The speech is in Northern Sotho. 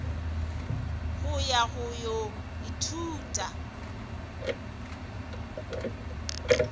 go ya go go ithuta